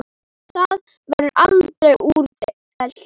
Það verður aldrei úrelt.